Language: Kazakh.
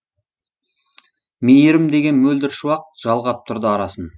мейірім деген мөлдір шуақ жалғап тұрды арасын